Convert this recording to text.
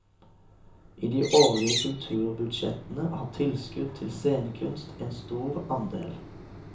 I de årlige kulturbudsjettene har tilskudd til scenekunst en stor andel.